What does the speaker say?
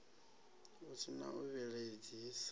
hu si na u vhilaedzisa